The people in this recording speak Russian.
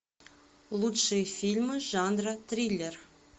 лучшие фильмы жанра триллер